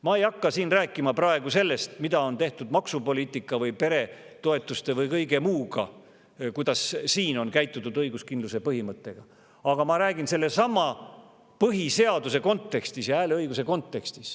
Ma ei hakka siin praegu rääkima sellest, kuidas on õiguskindluse põhimõttesse suhtutud maksupoliitika või peretoetuste või kõige muu, vaid ma räägin sellesama põhiseaduse ja hääleõiguse kontekstis.